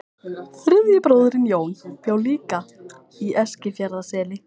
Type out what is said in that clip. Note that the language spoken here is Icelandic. Þriðji bróðirinn, Jón, bjó líka í Eskifjarðarseli.